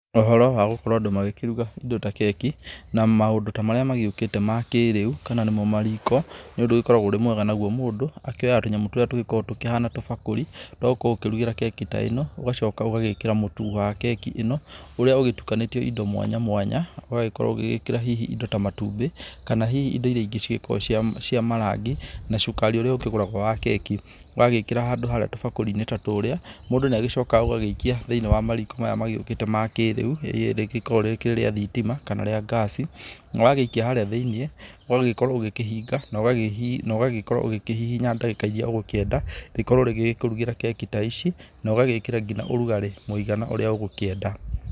Ũhoro wa gũkorwo andũ magĩkĩruga indo ta keki na maũndũ ta marĩa magĩũkĩte makĩrĩu kana nĩmo mariko nĩ ũndũ ũgĩkoragwo ũrĩ mwega. Naguo mũndũ akĩoyaga tũnyamũ tũrĩa tũgĩkoragwo tũhana tũbakũri, twa gũkorwo ũkĩrugĩra keki ta ĩno. Ũgacoka ũgagĩkĩra mũtu wa keki ĩno ũrĩa ũgĩtukanĩtio indo mwanya mwanya, ũgakorwo ũgĩgĩkĩra hihi indo ta matumbĩ. Kana hihi indo iria ingĩ cigĩkoragwo cia marangi na cukari ũrĩa ũkĩgũragwo wa keki. Wagĩkĩra handũ harĩ tũbakũri-inĩ ta tũrĩa, mũndũ nĩ agĩcokaga ũgagĩikia thĩinĩ wa mariko maya magĩũkĩte makĩrĩu. Rĩrĩa rĩgĩkoragwo rĩkĩrĩ rĩa thitima kana rĩa ngaci na wagĩikia harĩa thĩinĩ ũgagĩkorwo ũgĩkĩhinga na ũgagĩkorwo ũgĩkĩhihinya ndagĩka iria ũgũkĩenda rĩkorwo rĩgĩkũrugĩra keki ta ici, na ũgagĩkĩra ngina ũrugarĩ mũigana ũria ũgũkĩenda.